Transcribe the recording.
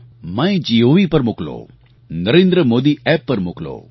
MyGov પર મોકલો NarendraModiApp પર મોકલો